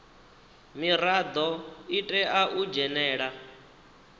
mirado i tea u dzhenela